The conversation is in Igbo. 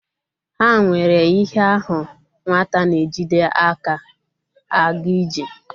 Ha nwere ihe ahu nwata na-ejide aka a ga-ije.